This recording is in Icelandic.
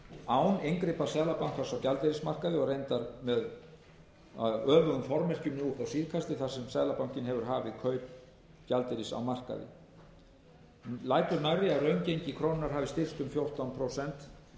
án inngripa seðlabankans á gjaldeyrismarkaði og reyndar með öfugum formerkjum nú upp á síðkastið þar sem seðlabankinn hefur hafið kaup gjaldeyris á markaði lætur nærri að raungengi krónunnar hafi styrkst um fjórtán prósent